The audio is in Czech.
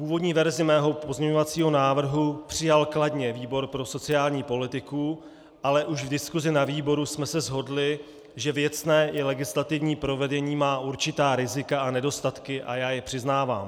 Původní verzi mého pozměňovacího návrhu přijal kladně výbor pro sociální politiku, ale už v diskusi na výboru jsme se shodli, že věcné i legislativní provedení má určitá rizika a nedostatky a já je přiznávám.